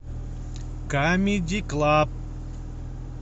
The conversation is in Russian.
камеди клаб